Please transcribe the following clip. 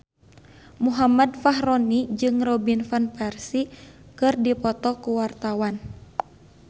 Muhammad Fachroni jeung Robin Van Persie keur dipoto ku wartawan